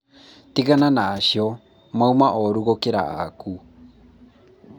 tigana na acio mauma ooru gũkĩra aaku